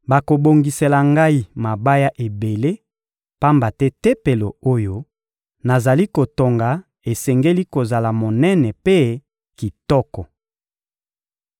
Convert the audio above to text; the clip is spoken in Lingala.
bakobongisela ngai mabaya ebele, pamba te Tempelo oyo nazali kotonga esengeli kozala monene mpe kitoko.